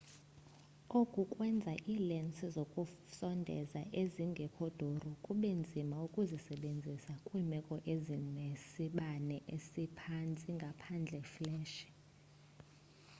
oku kwenza iilensi zokusondeza ezingekho duru kube nzima ukuzisebenzisa kwiimeko ezinesibane esiphantsi ngaphandle fleshi